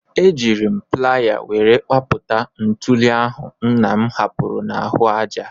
Ejiiri m playa were kpapụta ntuli ahụ nna m hapụrụ n'ahụ aja.